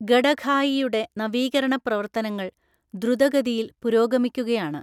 ഗഡഖായിയുടെ നവീകരണ പ്രവർത്തനങ്ങൾ ദ്രുതഗതിയിൽ പുരോഗമിക്കുകയാണ്.